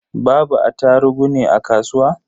Babu attarugu ne a kasuwa?